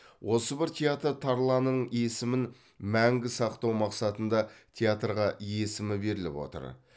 осы бір театр тарланын есімін мәңгі сақтау мақсатында театрға есімі беріліп отыр